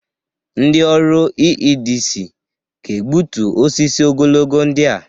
Ndị ọrụ EEDC ga-egbutu osisi ogologo ndị a.